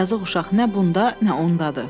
Yazıq uşaq nə bunda, nə ondadır.